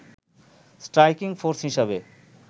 striking force হিসেবে